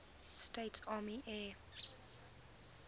states army air